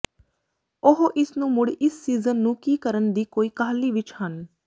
ਉਹ ਇਸ ਨੂੰ ਮੁੜ ਇਸ ਸੀਜ਼ਨ ਨੂੰ ਕੀ ਕਰਨ ਦੀ ਕੋਈ ਕਾਹਲੀ ਵਿੱਚ ਹਨ